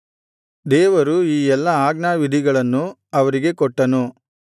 ದೇವರು ಈ ಎಲ್ಲಾ ಆಜ್ಞಾವಿಧಿಗಳನ್ನು ಅವರಿಗೆ ಕೊಟ್ಟನು